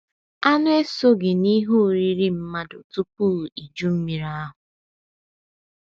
Anụ esoghị n’ihe oriri mmadụ tupu Iju Mmiri ahụ. Mmiri ahụ.